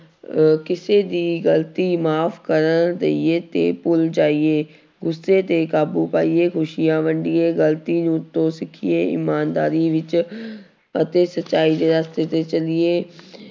ਅਹ ਕਿਸੇ ਦੀ ਗ਼ਲਤੀ ਮਾਫ਼ ਕਰ ਦੇਈਏ ਤੇ ਭੁੱਲ ਜਾਈਏ ਗੁੱਸੇ ਤੇ ਕਾਬੂ ਪਾਈਏ ਖ਼ੁਸ਼ੀਆਂ ਵੰਡੀਏ ਗ਼ਲਤੀ ਤੋਂ ਸਿੱਖੀਏ ਇਮਾਨਦਾਰੀ ਵਿੱਚ ਅਤੇ ਸਚਾਈ ਦੇ ਰਸਤੇ ਤੇ ਚੱਲੀਏ